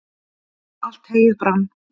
allt heyið brann